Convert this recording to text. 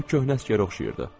O köhnə əsgərə oxşayırdı.